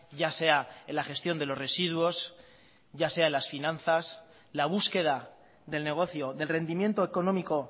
ya sea en la gestión de los residuos ya sea las finanzas la búsqueda del negocio del rendimiento económico